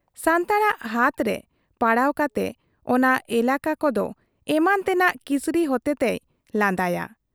ᱥᱟᱱᱛᱟᱲᱟᱜ ᱦᱟᱛᱨᱮ ᱯᱟᱲᱟᱣ ᱠᱟᱛᱮ ᱚᱱᱟ ᱮᱞᱠ ᱠᱚᱫᱚ ᱮᱢᱟᱱ ᱛᱮᱱᱟᱜ ᱠᱨᱤᱥᱤ ᱦᱚᱛᱮ ᱛᱮᱭ ᱞᱟᱸᱫᱟᱭᱟ ᱾